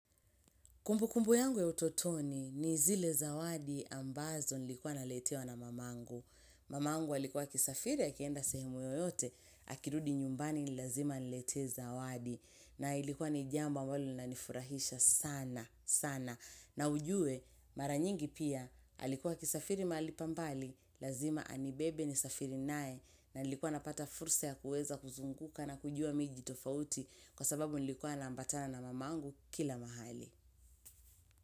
Kumbukumbu yangu ya utotoni ni zile zawadi ambazo nilikuwa naletewa na mamangu. Mamangu alikuwa akisafiri akienda sehemu yoyote, akirudi nyumbani ni lazima anilete zawadi. Na ilikuwa ni jambi ambalo linafurahisha sana, sana. Na ujue, mara nyingi pia, alikuwa akisafiri mahali pa mbali, lazima anibebe ni safiri nae. Na nilikuwa napata fursa ya kuweza kuzunguka na kujua miji tofauti kwa sababu nilikuwa naambatana na mamangu kila mahali.